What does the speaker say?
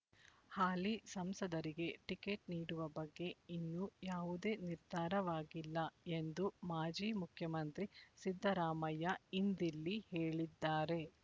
ಹಾಲಿ ಸಂಸದರಿಗೆ ಟಿಕೆಟ್ ನೀಡುವ ಬಗ್ಗೆ ಇನ್ನೂ ಯಾವುದೇ ನಿರ್ಧಾರವಾಗಿಲ್ಲ ಎಂದು ಮಾಜಿ ಮುಖ್ಯಮಂತ್ರಿ ಸಿದ್ದರಾಮಯ್ಯ ಇಂದಿಲ್ಲಿ ಹೇಳಿದ್ದಾರೆ